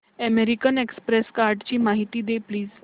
American Express कार्डची माहिती दे प्लीज